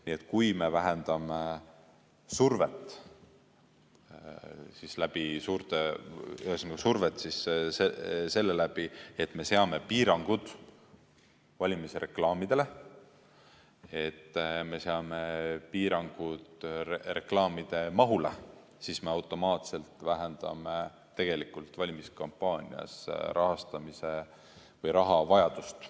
Nii et kui me vähendame survet seeläbi, et me seame piirangud valimisreklaamidele, et me seame piirangud reklaamide mahule, siis me automaatselt vähendame valimiskampaanias rahastamise või raha vajadust.